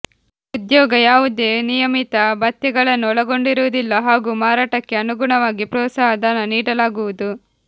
ಉದ್ಯೋಗ ಯಾವುದೇ ನಿಯಮಿತ ಭತ್ಯೆಗಳನ್ನು ಒಳಗೊಂಡಿರುವುದಿಲ್ಲ ಹಾಗೂ ಮಾರಾಟಕ್ಕೆ ಅನುಗುಣವಾಗಿ ಪ್ರೋತ್ಸಾಹ ಧನ ನೀಡಲಾಗುವುದು